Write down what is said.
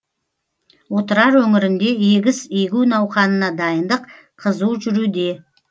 отырар өңірінде егіс егу науқанына дайындық қызу жүруде